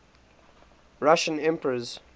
russian emperors